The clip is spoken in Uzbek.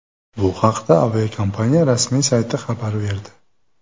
Bu haqda aviakompaniya rasmiy sayti xabar berdi .